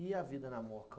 E a vida na moca hoje?